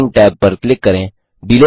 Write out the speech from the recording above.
timing tab पर click करें